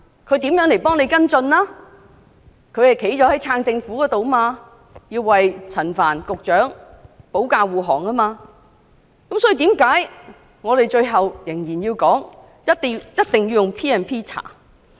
他們站在支持政府的一方，要為陳帆局長保駕護航，這就是為何我們最後仍然堅持必須引用 P&P 進行調查。